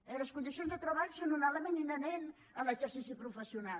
i les condicions de treball són un element inherent a l’exercici professional